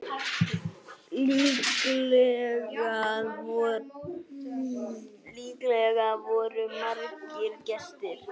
Líklega voru margir gestir.